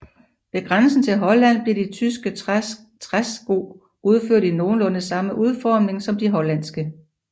Ved grænsen til Holland bliver de tyske træske udført i nogenlunde samme udformning som de hollandske